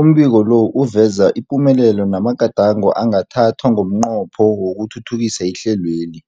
Umbiko lo uveza ipumelelo namagadango angathathwa ngomnqopho wokuthuthukisa ihlelweli.